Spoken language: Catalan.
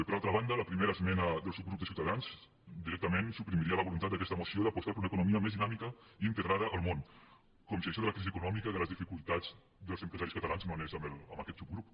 per altra banda la primera esmena del subgrup de ciutadans directament suprimiria la voluntat d’aquesta moció d’apostar per una economia més dinàmica i integrada al món com si això de la crisi econòmica de les dificultats dels empresaris catalans no anés amb aquest subgrup